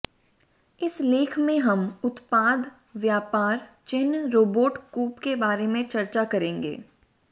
इस लेख में हम उत्पाद व्यापार चिह्न रोबोट कूप के बारे में चर्चा करेंगे